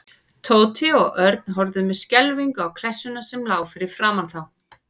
Tóti og Örn horfðu með skelfingu á klessuna sem lá fyrir framan þá.